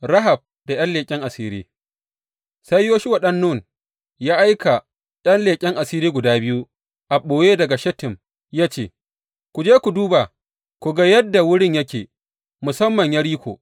Rahab da ’yan leƙen asiri Sai Yoshuwa ɗan Nun ya aika ’yan leƙen asiri guda biyu a ɓoye daga Shittim ya ce, Ku je ku duba, ku ga yadda wurin yake, musamman Yeriko.